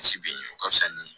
Misi biɲɛ ka fisa